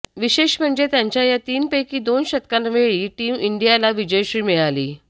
विशेष म्हणजे त्याच्या या तीनपैकी दोन शतकांवेळी टीम इंडियाला विजयश्री मिळाली